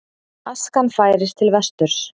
Askan færist til vesturs